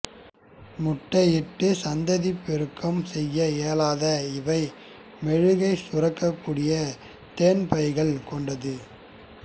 முட்டை இட்டு சந்ததி பெருக்கம் செய்ய இயலாத இவை மெழுகைச் சுரக்கக் கூடிய தேன் பைகள் கொண்ட து